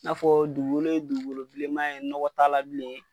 N'a fɔ dugukolo ye dugukolobilenman ye nɔgɔ ta la bilen.